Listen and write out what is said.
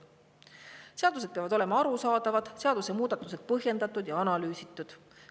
Seadused peavad olema arusaadavad, seadusemuudatused põhjendatud ja analüüsitud.